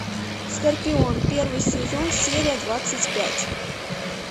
скорпион первый сезон серия двадцать пять